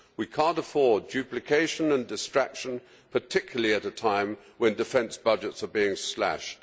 We cannot afford duplication and distraction, particularly at a time when defence budgets are being slashed.